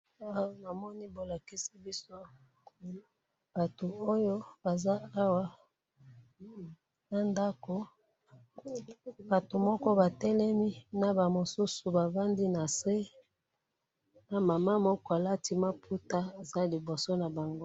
awa namoni bo lakisi biso batu oyo baza awa, na ndako, batu moko ba telemi, na ba mosusu ba fandi na see, na maman moko alati maputa aza liboso na bango